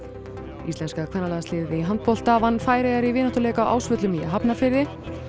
íslenska kvennalandsliðið í handbolta vann Færeyjar í vináttuleik á Ásvöllum í Hafnarfirði